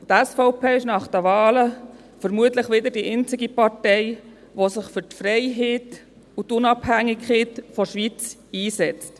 Die SVP ist nach den Wahlen vermutlich wieder die einzige Partei, die sich für die Freiheit und die Unabhängigkeit der Schweiz einsetzt.